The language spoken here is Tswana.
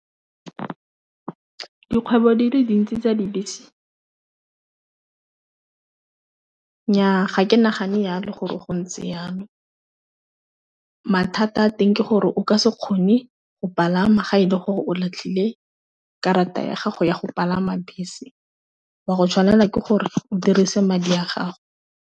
Dikgwebo di le dintsi tsa dibese nyaa ga ke nagane ya le gore go ntse yalo mathata a teng ke gore o ka se kgone go palama ga e le gore o latlhile karata ya gago ya go palama bese, wa go tshwanela ke gore o dirise madi a gago.